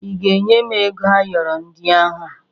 Ị ga-enye m ego ayọrọ ndị ahụ?